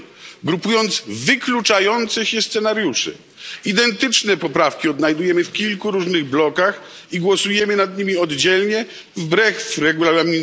8 Regulaminu, grupując wykluczające się scenariusze. Identyczne poprawki odnajdujemy w kilku różnych blokach i głosujemy nad nimi oddzielnie i wbrew art.